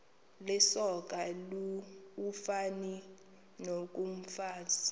lisoka ufani nokomfazi